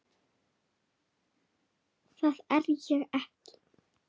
Það er ég ekki.